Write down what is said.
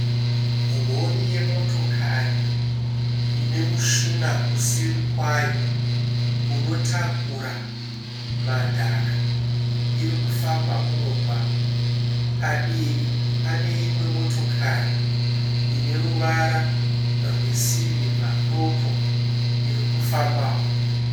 Rori yemotokari ine mushina kuseri kwayo unotakura madhaka. Irikufamba mumugwaga. Padivi pane imwe motokari ine ruvara rwe sirivha doko irikufambao.